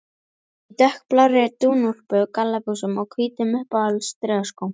Í dökkblárri dúnúlpu, gallabuxum og hvítum, uppháum strigaskóm.